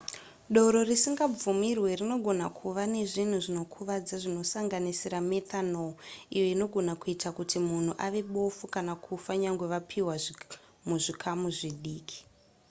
doro risingabvumirwe rinogona kuva nezvinhu zvinokuvadza zvinosanganisira methanol iyo inogona kuita kuti munhu ave bofu kana kufa nyangwe yapiwa muzvikamu zvidiki